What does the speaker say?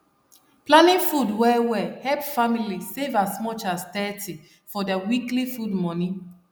planning food well well help family save as much as thirty for their weekly food money